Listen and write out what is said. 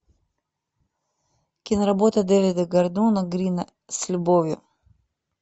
киноработа дэвида гордона грина с любовью